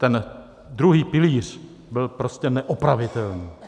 Ten druhý pilíř byl prostě neopravitelný.